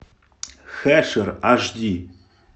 хешер аш ди